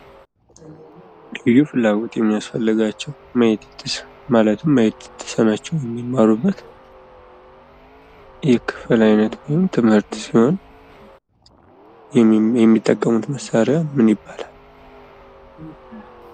ልዩ ፍላጎት የሚያስፈልጋቸው ማለትም ማየት የተሳናቸው የሚማሩበት የክፍል አይነት ነው። ይህም ትምህርት ሲሆን የሚጠቀሙት መሳሪያ ምን ይባላል?